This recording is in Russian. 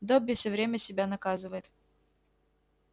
добби всё время себя наказывает